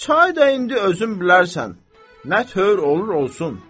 Çay da indi özün bilərsən nə tövür olur olsun.